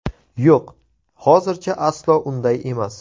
Yo‘q, hozircha aslo unday emas.